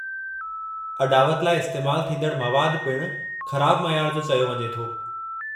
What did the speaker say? अॾावत लाइ इस्तैमालु थींदड़ु मवादु पिणु ख़राबु मयारु जो चयो वञे थो।